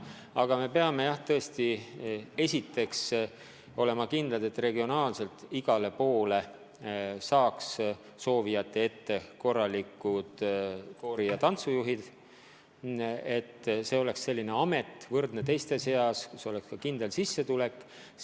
Aga me peame, jah, esiteks olema kindlad, et igas regioonis jätkuks soovijate ette häid koori- ja tantsujuhte, et see oleks amet, kus oleks kindel sissetulek.